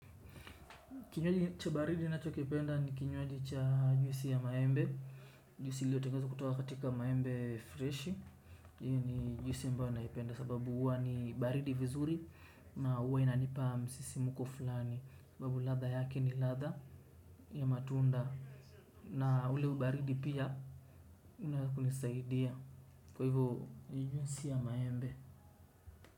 Kinywaji cha baridi ninachokipenda ni kinywaji cha juisi ya maembe. Juisi iliotengenezwa kutoka katika maembe freshi hiyo ni juisi ambayo naipenda sababu huwa ni baridi vizuri. Na huwa inanipa msisimuko fulani sababu ladha yake ni ladha ya matunda. Na ule ubaridi pia unakunisaidia kwa hivyo juisi ya maembe.